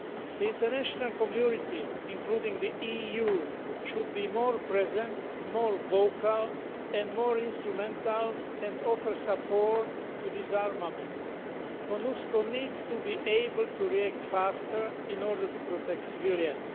The international community, including the EU, should be more present, more vocal and more instrumental, and offer support to disarmament. MONUSCO also needs to be able to react faster in order to protect civilians.